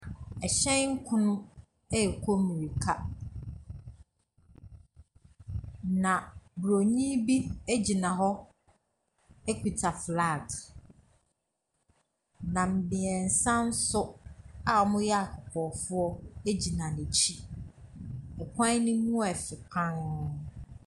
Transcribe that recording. Ɛhyɛn kono rekɔ mirika na Buroni bi gyina hɔ kita flaks na mmiɛnsa nso a wɔyɛ akɔkɔɔfoɔ gyina n'akyi. Kwan no mu yɛ fɛ pa ara.